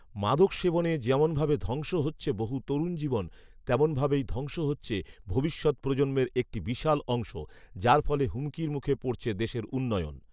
মাদক সেবনে যেমন ভাবে ধ্বংস হচ্ছে বহু তরুণ জীবন, তেমন ভাবেই ধ্বংস হচ্ছে ভবিষৎ প্রজন্মের একটি বিশাল অংশ, যার ফলে হুমকির মুখে পড়ছে দেশের উন্নয়ন